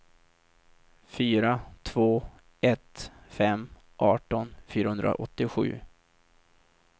fyra två ett fem arton fyrahundraåttiosju